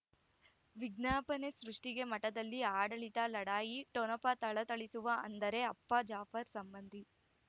ವಿಜ್ಞಾಪನೆ ಸೃಷ್ಟಿಗೆ ಮಠದಲ್ಲಿ ಆಡಳಿತ ಲಢಾಯಿ ಠೊಣಪ ಥಳಥಳಿಸುವ ಅಂದರೆ ಅಪ್ಪ ಜಾಫರ್ ಸಂಬಂಧಿ